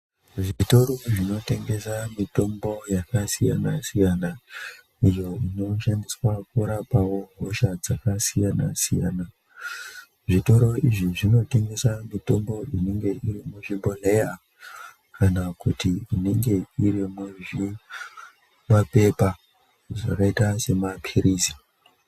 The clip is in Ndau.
Zvitoro zvinotengesa mitombo iyo yakasiyana siyana iyo iñoshandiswa mukurapawo hosha dzakasiyana siyana zvitore izvi zvinotengesa mitombo inenge iri muzvibhohlera kana inenge iri muzvipepa zvakaita sema pilizi.